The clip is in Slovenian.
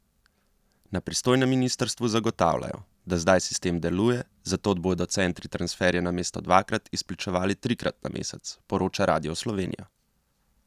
Na pristojnem ministrstvu zagotavljajo, da zdaj sistem deluje, zato bodo centri transferje namesto dvakrat, izplačevali trikrat na mesec, poroča Radio Slovenija.